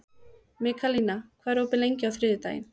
Mikaelína, hvað er opið lengi á þriðjudaginn?